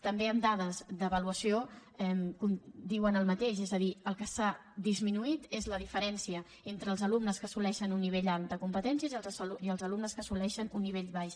també amb dades d’avaluació diuen el mateix és a dir el que s’ha disminuït és la diferència entre els alumnes que assoleixen un nivell alt de competències i els alumnes que assoleixen un nivell baix